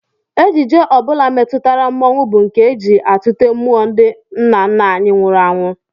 Ejije ọ bụla metụtara mmọnwụ bụ nke e ji atụte mmụọ ndị nna nna anyị nwụrụ anwụ